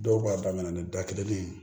Dɔw b'a daminɛ ni da kelen ye